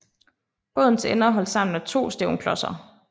Bådens ender er holdt sammen af to stævnklodser